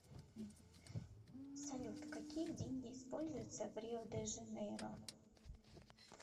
салют какие деньги используются в рио де жанейро